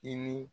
I ni